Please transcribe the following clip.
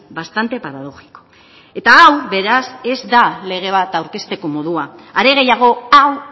bastante paradójico eta hau beraz ez da lege bat aurkezteko modua are gehiago hau